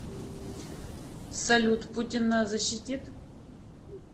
салют путин нас защитит